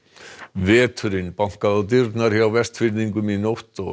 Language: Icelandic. veturinn bankaði á dyrnar hjá Vestfirðingum í nótt og